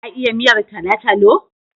Ta iya miyar talo-talo?